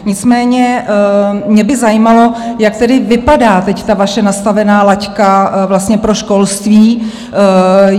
Nicméně mě by zajímalo, jak tedy vypadá teď ta vaše nastavená laťka pro školství?